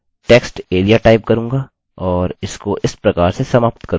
अतः मैं textarea type करूँगा और इसको इस प्रकार से समाप्त करूँगा